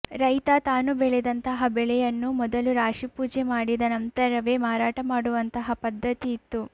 ರೈತ ತಾನು ಬೆಳೆದಂತಹ ಬೆಳೆಯನ್ನು ಮೊದಲು ರಾಶಿ ಪೂಜೆ ಮಾಡಿದ ನಂತರವೇ ಮಾರಾಟ ಮಾಡುವಂತಹ ಪದ್ಧತಿ ಇತ್ತು